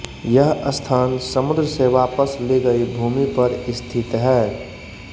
यह स्थान समुद्र से वापस ली गई भूमि पर स्थित है